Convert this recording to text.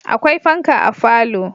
Akwai fanka a falo